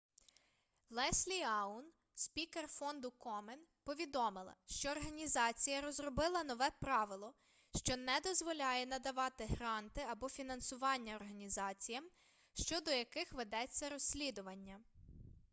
леслі аун спікер фонду комен повідомила що організація розробила нове правило що не дозволяє надавати гранти або фінансування організаціям щодо яких ведеться розслідування